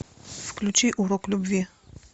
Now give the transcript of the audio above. включи урок любви